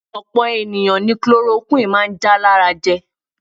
Opo eniyan ni ogun kolorokuwini maa n ja lara je.